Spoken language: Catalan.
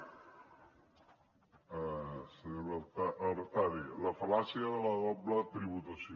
senyora artadi la fal·làcia de la doble tributació